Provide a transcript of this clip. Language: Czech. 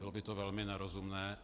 Bylo by to velmi nerozumné.